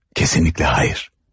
Kesinlikle hayır.